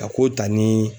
A ko ta ni